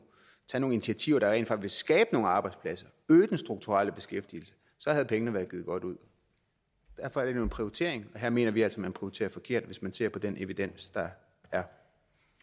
initiativer der rent faktisk ville skabe nogle arbejdspladser øge den strukturelle beskæftigelse så havde pengene været givet godt ud derfor er det en prioritering og her mener vi altså man prioriterer forkert hvis man ser på den evidens der er